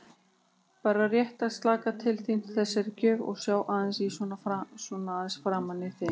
Bara rétt að slaka til þín þessari gjöf og sjá aðeins svona framan í þig.